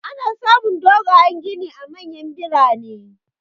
Ana samun dogayan gini a manyan birane.